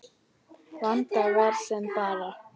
Vandinn versnar bara.